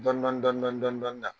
Dɔni dɔni dɔni dɔni